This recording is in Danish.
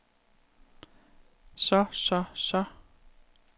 så så så